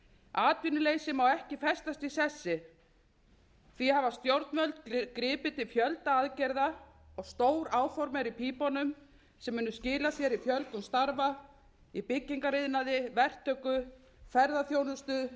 atvinnuleysi má ekki festast í sessi því hafa stjórnvöld gripið til fjölda aðgerða og stór áform eru í pípunum sem munu skila sér í fjölgun starfa í byggingariðnaði verktöku ferðaþjónustu